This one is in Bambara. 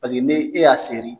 n'e y'a seri